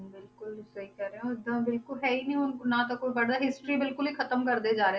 ਬਿਲਕੁਲ ਤੁਸੀਂ ਸਹੀ ਕਹਿ ਰਹੇ ਹੋ ਇੱਦਾਂ ਬਿਲਕੁਲ ਹੈ ਹੀ ਨੀ ਹੁਣ ਨਾ ਤਾਂ ਕੋਈ ਪੜ੍ਹਦਾ history ਬਿਲਕੁਲ ਹੀ ਖਤਮ ਕਰਦੇ ਜਾ ਰਹੇ